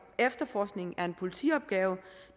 efterforskningen er en politiopgave